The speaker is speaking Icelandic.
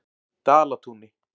Dalatúni